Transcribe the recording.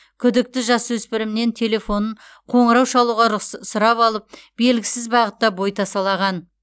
күдікті жасөспірімнен телефонын қоңырау шалуға сұрап алып белгісіз бағытта бой тасалаған